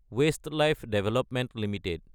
Westlife development Ltd